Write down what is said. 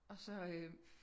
Og så øh